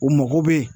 U mago bɛ